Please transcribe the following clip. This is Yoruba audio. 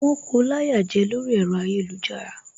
Wón ko láyà jẹ lórí ẹ̀rọ ayélujára